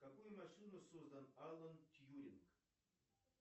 какую машину создал алан тьюринг